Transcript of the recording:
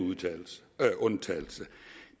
undtagelse